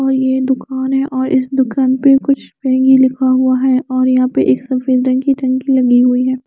और ये दुकान है और इस दुकान पे का कुछ और यहाँ पे सफ़ेद रंग की टंकी लगी हुई है।